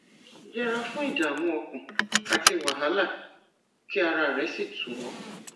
yẹra fún ìdààmú ọkàn àti wàhálà kí ara rẹ sì tù ọ